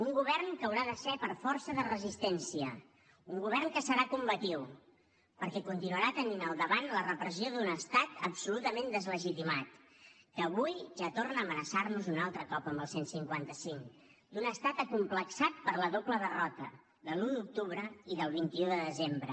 un govern que haurà de ser per força de resistència un govern que serà combatiu perquè continuarà tenint al davant la repressió d’un estat absolutament deslegitimat que avui ja torna a amenaçar nos un altre cop amb el cent i cinquanta cinc d’un estat acomplexat per la doble derrota de l’un d’octubre i del vint un de desembre